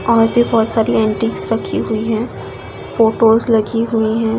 और भी बहुत सारी एंटीक रखी हुई है फोटोज़ लगी हुई है।